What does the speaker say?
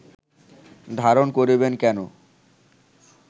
ধারণ করিবেন কেন